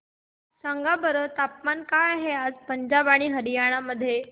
सांगा बरं तापमान काय आहे आज पंजाब आणि हरयाणा मध्ये